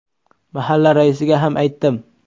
Mahalla raisiga ham aytdim.